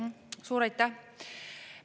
Suur aitäh!